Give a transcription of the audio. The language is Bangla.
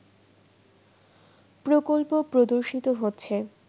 প্রকল্প প্রদর্শিত হচ্ছে